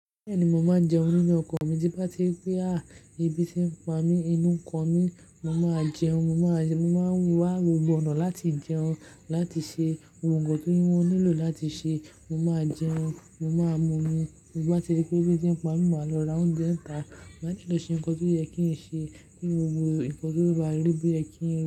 Bẹ́ẹ̀ni, mo máa jẹun nínú ọkọ̀ mi, tí bá ti ri pé à ebí tí ń pa mí inú ka. Mi, mo máa jẹun, mo máa wá gbogbo ọ̀nà láti jẹun, láti ṣe gbogbo nkan ti wọ́n nílò láti ṣe, mo máa jẹun, mo máa mumi. Bí bá ti ri pé ebí ti ń pa mí, máa lọ ra oúnjẹ nìta. Máa sílọ ṣe nǹkan tó yẹ kí n ṣe, kí n wo nǹkan tó bá rí bí ẹ́ kí n.